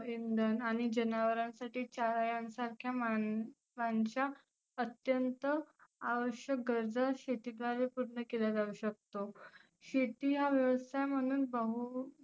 इंधन आणि जनावरांसाठी चाऱ्यांंसारखा मानसं अत्यंत आवश्यक गरजा शेती द्वारे पुर्ण केला जाऊ शकतो. शेती हा व्यवसाय म्हणुन बहु